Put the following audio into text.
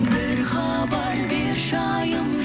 бір хабар берші айым